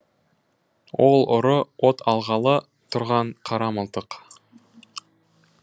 ол ұры от алғалы тұрған қара мылтық